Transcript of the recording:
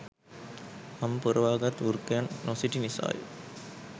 හම් පොරවා ගත් වෘකයන් නොසිටි නිසාය.